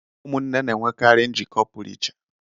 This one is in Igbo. Ụmụnne na-enwekarị njikọ pụrụ ichè.